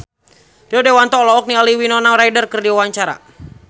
Rio Dewanto olohok ningali Winona Ryder keur diwawancara